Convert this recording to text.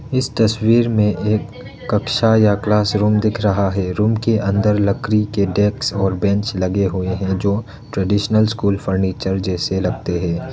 इस तस्वीर में एक कक्षा या क्लासरूम दिख रहा है रूम के अंदर लकड़ी के डेस्क और बेंच लगे हुए हैं जो ट्रेडिशनल स्कूल फर्नीचर जैसे लगते हैं।